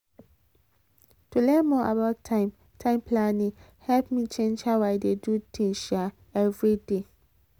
to learn more about time time planning help me change how i dey do things um every day.